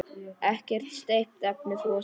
Ekkert steypt, efnið frosið.